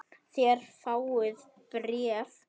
Þér fáið bréf!